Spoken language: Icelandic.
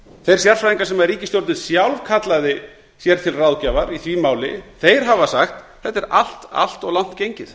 þeir sérfræðingar sem ríkisstjórnin sjálf kallaði sér til ráðgjafar í því máli hafa sagt þetta er allt of langt gengið